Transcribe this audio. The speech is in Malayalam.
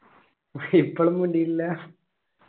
ഇപ്പോളും മിണ്ടിട്ടില്ല